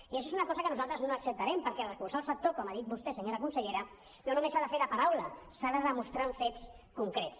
i això és una cosa que nosaltres no acceptarem perquè recolzar el sector com ha dit vostè senyora consellera no només s’ha de fer de paraula s’ha de demostrar amb fets concrets